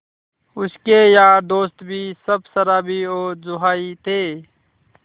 उसके यार दोस्त भी सब शराबी और जुआरी थे